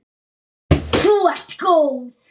Þú ert góð!